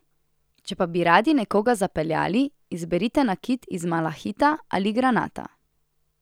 Če pa bi radi nekoga zapeljali, izberite nakit iz malahita ali granata.